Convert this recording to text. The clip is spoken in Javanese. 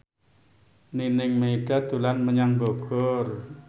Nining Meida dolan menyang Bogor